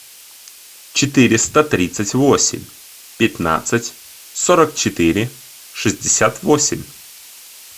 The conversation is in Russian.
четыреста тридцать восемь пятнадцать сорок четыре шестьдесят восемь